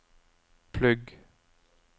plugg